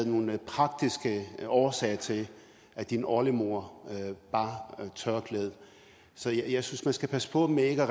nogle praktiske årsager til at din oldemor bar tørklæde så jeg synes man skal passe på med ikke